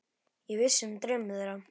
Ég vissi um draum þeirra.